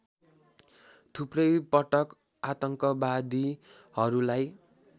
थुप्रै पटक आतङ्कवादीहरुलाई